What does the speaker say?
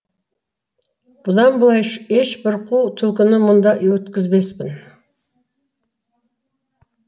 бұдан былай ешбір қу түлкіні мұнда өткізбеспін